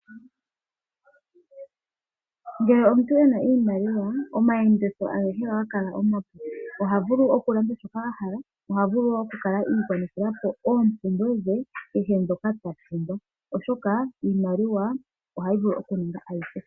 Ngele omuntu ena iimaliwa omayenditho agehe ohaga kala omapu. Ohavulu okulanda shoka a hala nohavulu oku kala igwanithila oompumbwe dhe kehe ndhoka ta pumbwa oshoka iimaliwa ohayi vulu okuninga ayihe.